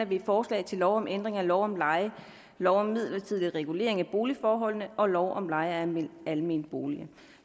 vi et forslag til lov om ændring af lov om leje lov om midlertidig regulering af boligforholdene og lov om leje af almene boliger